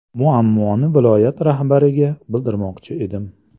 Muammoni viloyat rahbariga bildirmoqchi edim.